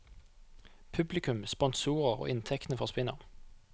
Publikum, sponsorer og inntektene forsvinner.